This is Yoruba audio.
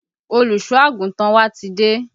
Olùsọ àgùntàn wa ti dé